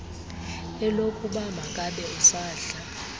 elokuba makabe usadla